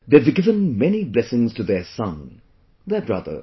They have given many blessings to their son, their brother